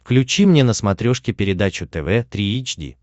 включи мне на смотрешке передачу тв три эйч ди